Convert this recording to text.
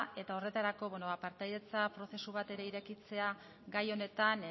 eta horretarako partaidetza prozesu bat ere irekitzea gai honetan